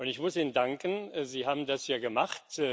Und ich muss Ihnen danken Sie haben das ja gemacht.